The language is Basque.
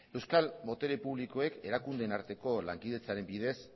euskal botere publikoek erakundeen arteko lankidetzaren bidez